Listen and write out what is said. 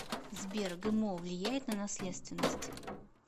сбер гмо влияет на наследственность